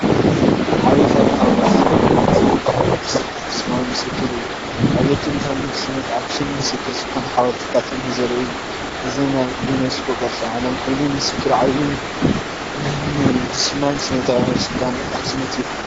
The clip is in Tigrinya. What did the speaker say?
ዓቢ ታሪኻዊ ቦታን ዕብየት ጥንታዊ ንግስነት ኣክሱማዊ ምስክርን እዩ! ንዕብየት ጥንታዊ ንግስነት ኣክሱም ምስክር ዝኾኑ ሓወልትታት እምኒ ዘርኢ እዩ። እዚ ናይ ዩኔስኮ ቅርሲ ዓለም ኮይኑ፡ ምስክር ዓቢ ምህንድስናን ስነጥበብን ጥንታዊ ስልጣነ ኣክሱሚት እዩ!